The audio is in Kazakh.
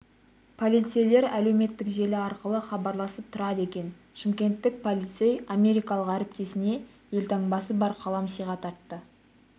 полицейлер әлеуметтік желі арқылы хабарласып тұрады екен шымкенттік полицей америкалық әріптесіне елтаңбасы бар қалам сыйға тартты